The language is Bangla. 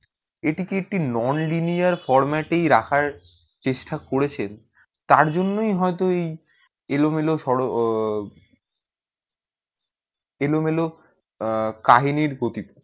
এই টি এক টি nonlinear format ই রাখার চেষ্টা করেছেন তার জন্যই হয়তো এই এলোমেলো এলোমেলো আহ কাহিনীর গতিতে